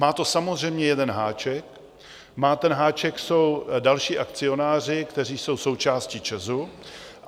Má to samozřejmě jeden háček a ten háček jsou další akcionáři, kteří jsou součástí ČEZu.